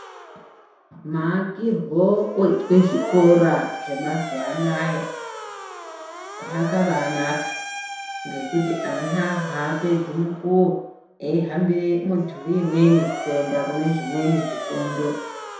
Maakirwo oyitwe zvikora zvemazuva anaya akabayi naka ngokuti ana haapedzi mukuyo eyihambire mudhuri imweni kuenda kune zvimweni zvifundo.